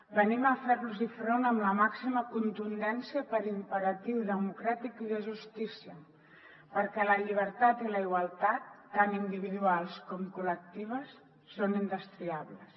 venim a fer los front amb la màxima contundència per imperatiu democràtic i de justícia perquè la llibertat i la igualtat tant individuals com col·lectives són indestriables